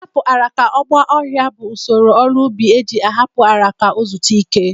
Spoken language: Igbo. Ị hapụ ala ka ọ gba ọhịa bụ usoro ọrụ ubi e ji ahapụ ala ka o zutu ike.